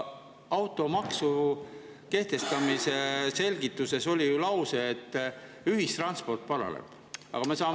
Automaksu kehtestamise selgituses oli ju lause, et ühistranspordi paraneb.